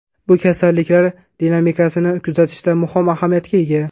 Bu kasalliklar dinamikasini kuzatishda muhim ahamiyatga ega.